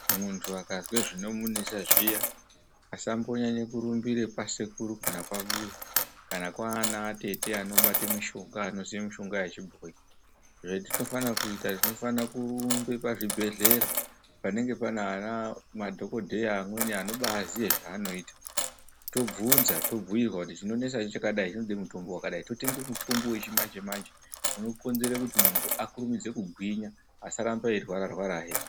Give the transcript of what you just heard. Muntu akazwe zvinomu nesa zviya asambo nyanye kurumbira kwa sekuru kana kwambuya kana kwaana atete ano bate mishonga ano ziye mishonga yechi bhoyi zvatino fana kuita tinofana kurumbe pa zvibhedhlera panenge pana ana madhokodheya amweni anobai ziye zva anoita tobvunza to bhuirwa kuti chinonesa chakadai chinode mutombo wakadai totenge mutombo wechi manje manje uno konzere kuti muntu akurumidze kugwinya asarambe eyi rwara rwara hee.